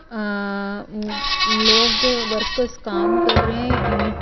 अह लोग workers workers काम कर रहे हैं ईट--